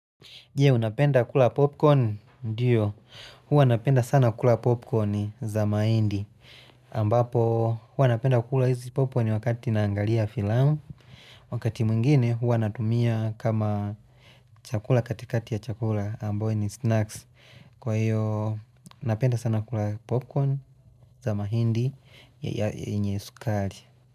Jee, unapenda kula popcorn, ndiyo, huwa napenda sana kula popcorn za maindi, ambapo huwa napenda kula hizi popcorn wakati naangalia filamu, wakati mwngine huwa natumia kama chakula katikati ya chakula, ambayo ni snacks, kwa hiyo napenda sana kula popcorn za maindi ya yenye sukari.